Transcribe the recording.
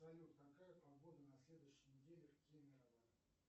салют какая погода на следующей неделе в кемерово